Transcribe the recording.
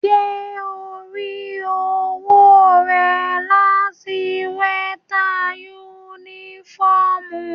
Ṣe ò ń rí owó rẹ láti western union?